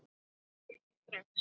Ekki strax